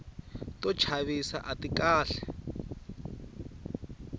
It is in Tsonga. to chavisa ati kahle